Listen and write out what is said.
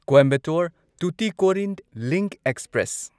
Coimbatore Tuticorin link express